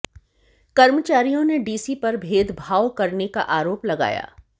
कर्मचारियों ने डीसी पर भेदभाव करने का आरोप लगाया